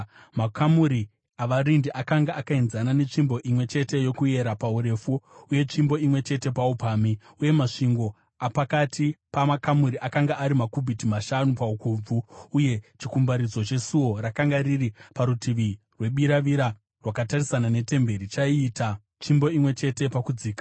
Makamuri avarindi akanga akaenzana netsvimbo imwe chete yokuyera paurefu uye tsvimbo imwe chete paupamhi, uye masvingo apakati pamakamuri akanga ari makubhiti mashanu paukobvu. Uye chikumbaridzo chesuo rakanga riri parutivi rwebiravira rakatarisana netemberi chaiita tsvimbo imwe chete pakudzika.